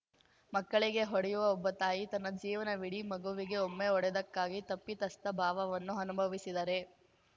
ಮಕ್ಕಳಿಗೆ ಹೊಡೆಯುವ ಒಬ್ಬ ತಾಯಿ ತನ್ನ ಜೀವನವಿಡೀ ಮಗುವಿಗೆ ಒಮ್ಮೆ ಹೊಡೆದಕ್ಕಾಗಿ ತಪ್ಪಿತಸ್ಥ ಭಾವವನ್ನು ಅನುಭವಿಸಿದರೆ